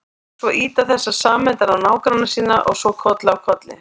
Svo ýta þessar sameindir á nágranna sína og svo koll af kolli.